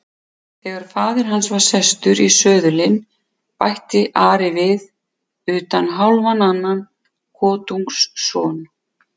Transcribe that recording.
Þegar faðir hans var sestur í söðulinn bætti Ari við:-Utan hálfan annan kotungsson.